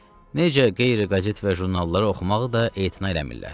Necə qeyri-qəzet və jurnalları oxumağı da etina eləmirlər.